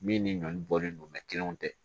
Min ni ɲɔn bɔlen don kelenw tɛ